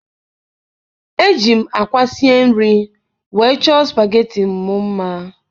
ejighị m àkwá sie nri wee chọọ supageti m mma.